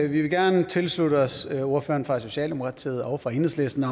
vi vil gerne tilslutte os ordførerne fra socialdemokratiet og fra enhedslisten